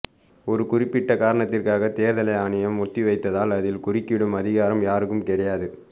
ஒரு குறிப்பிட்ட காரணத்திற்காக தேர்தலை ஆணையம் ஒத்திவைத்தால் அதில் குறுக்கிடும் அதிகாரம் யாருக்கும் கிடையாது